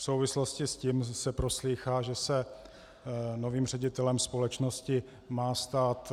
V souvislosti s tím se proslýchá, že se novým ředitelem společnosti má stát